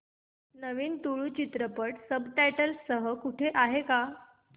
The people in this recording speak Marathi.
नवीन तुळू चित्रपट सब टायटल्स सह कुठे आहे का